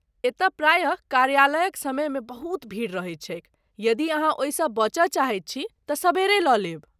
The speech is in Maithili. एतय प्रायः कार्यालयक समयमे बहुत भीड़ रहैत छैक, यदि अहाँ ओहिसँ बचय चाहैत छी तँ सबेरे लऽ लेब।